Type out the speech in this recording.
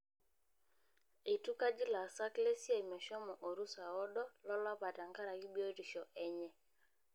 Eitukaji laasak lesia meshomo orusa oodolo lolapa tenkaraki biotisho enye.